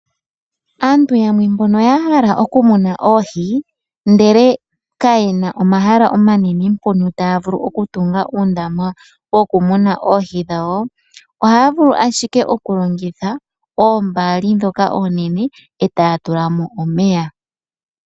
Aantubyamwe mbono ya hala okumuna oohi ndele kayena omahala omanene mpono taya vulu okutunga uundama wokumuna oohi dhawo, ohaya vulu ashike okulongitha oombaki dhoka oonene e taya tula mo omeya.